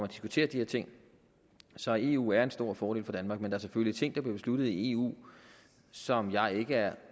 diskuterer de her ting så eu medlemskabet er en stor fordel for danmark men der er selvfølgelig ting der bliver besluttet i eu som jeg ikke er